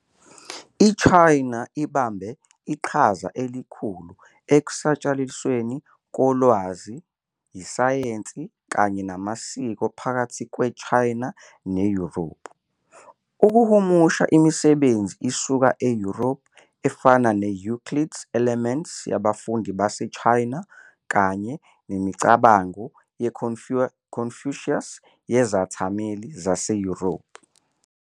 China abambe iqhaza elikhulu ekusatshalalisweni kolwazi, isayensi, kanye namasiko phakathi kweChina neYurophu, ukuhumusha imisebenzi isuka eYurophu efana ne-Euclid's Elements yabafundi base China kanye imicabango yeConfucius yezethameli zaseYurophu.